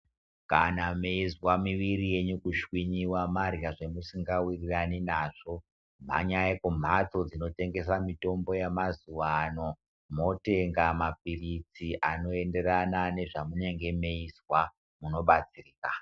Kana meizwa mwiri yenyu kushwinyiwa marya zvemusingawirirani nazvo mhanyai kumhatso dzinotengesa mitombo yamazuano motenga mapirizi anoenderana nezvamunenge meizwa munobatsirika.